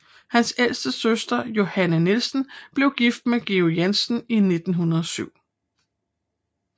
Hans ældste søster Johanne Nielsen blev gift med Georg Jensen i 1907